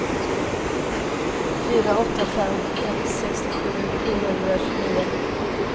fyra åtta fem ett sextiosju sjuhundratjugonio